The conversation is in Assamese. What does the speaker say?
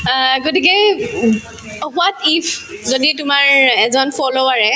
আহ্, গতিকেই উব if যদি তোমাৰ এজন follower য়ে